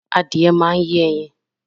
Adìẹ máa yẹ ẹyin